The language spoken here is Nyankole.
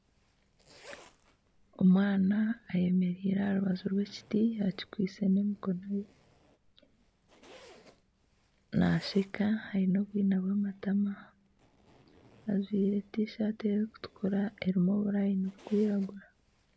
Omwana ayemereire aha rubaju rw'ekiti akikwaitse n'emikono ye naasheka aine obwina bw'amatama ajwaire tishati erikutukura erimu oburayini burikwiragura